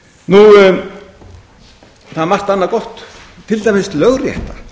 greinum það er margt annað gott til dæmis lögrétta